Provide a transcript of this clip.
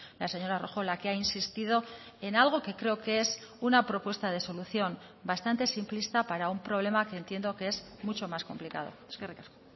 la señora rojo la que ha insistido en algo que creo que es una propuesta de solución bastante simplista para un problema que entiendo que es mucho más complicado eskerrik asko